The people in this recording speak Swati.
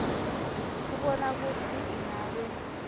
kubona kutsi ingabe